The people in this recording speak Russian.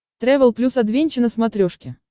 трэвел плюс адвенча на смотрешке